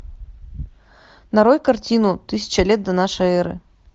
нарой картину тысяча лет до нашей эры